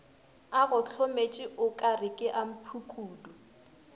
a gohlometše o ka rekeamphukudu